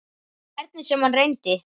Hvernig sem hann reyndi.